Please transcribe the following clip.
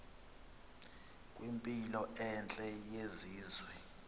kwimpilo entle yesizwe